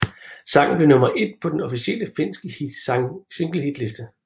Sangen blev nummer et på den officielle finske singlehitliste